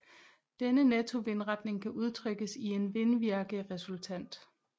Denne nettovindretning kan udtrykkes i en vindvirkeresultant